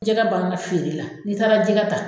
Jɛgɛ ban na feere la n'i taara jɛgɛ ta